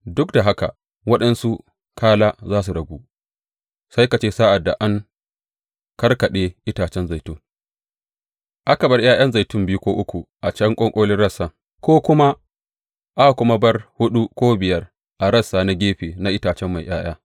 Duk da haka waɗansu kala za su ragu, sai ka ce sa’ad da an karkaɗe itace zaitun, aka bar ’ya’yan zaitun biyu ko uku a can ƙwanƙolin rassan, ko kuma aka bar huɗu ko biyar a rassa na gefe na itace mai ’ya’ya,